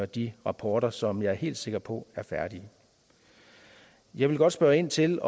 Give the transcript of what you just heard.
de rapporter som jeg er helt sikker på er færdige jeg vil godt spørge ind til